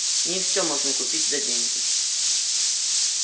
не все можно купить за деньги